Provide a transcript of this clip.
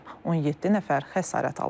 17 nəfər xəsarət alıb.